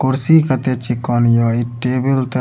कुर्सी कते चिकन ये इ टेबल ते --